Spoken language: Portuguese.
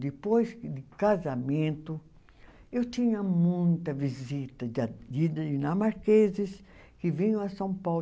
Depois que de casamento, eu tinha muita visita de a de dinamarqueses que vinham a São Paulo.